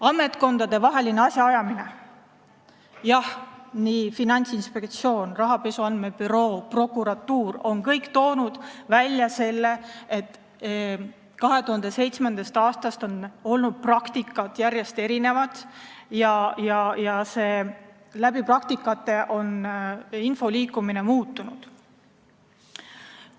Ametkondadevaheline asjaajamine: Finantsinspektsioon, rahapesu andmebüroo ja prokuratuur on kõik toonud välja, et 2007. aastast on olnud järjest erinevaid praktikaid ja info liikumine on muutunud.